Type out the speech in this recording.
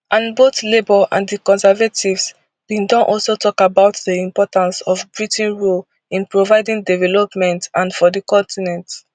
and both labour and di conservatives bin don also tok about di importance of britain role in providing development and for di continent